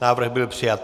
Návrh byl přijat.